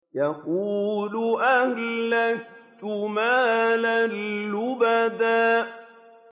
يَقُولُ أَهْلَكْتُ مَالًا لُّبَدًا